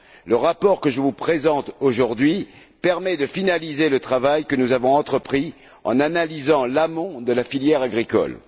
Le rapport que je vous présente aujourd'hui permet de finaliser le travail que nous avons entrepris en analysant l'amont de la filière agricole.